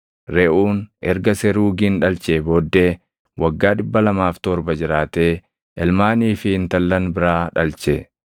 Reʼuun erga Seruugin dhalchee booddee waggaa 207 jiraatee ilmaanii fi intallan biraa dhalche.